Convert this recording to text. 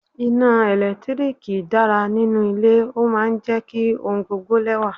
Iná ẹ̀lẹ́tíríkì dára nínú ilé, ó máa ń jẹ́ kí ohun gbogbo lẹ́wà.